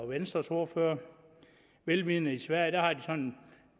venstres ordfører vel vidende i sverige har en